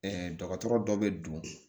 Ɛɛ dɔgɔtɔrɔ dɔ bɛ don